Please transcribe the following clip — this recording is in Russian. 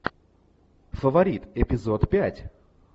фаворит эпизод пять